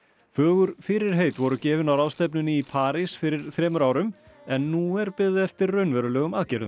fögur fyrirheit voru gefin á ráðstefnunni í París fyrir þremur árum en nú er beðið eftir raunverulegum aðgerðum